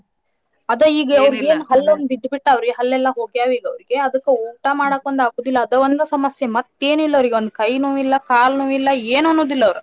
ಅದ ಅವರಿಗೇನ್ ಹಲ್ಲ್ ಒಂದ್ ಬಿದ್ದ ಬಿದ್ ಬಿಟ್ಟಾವರಿ ಹಲ್ಲ್ ಎಲ್ಲಾ ಹೋಗ್ಯಾವ ಈಗ ಅವ್ರಿಗೆ ಅದಕ್ಕ ಊಟಾ ಮಾಡಕೊಂದ್ ಆಗುದಿಲ್ಲಾ ಅದ ಒಂದ್ ಸಮಸ್ಯೆ ಮತ್ತ್ ಏನಿಲ್ಲ ಅವ್ರಿಗೆ ಒಂದ ಕೈ ನೋವ್ ಇಲ್ಲಾ ಕಾಲ ನೋವ್ ಇಲ್ಲಾ ಏನು ಅನ್ನೋದಿಲ್ಲ ಅವ್ರ.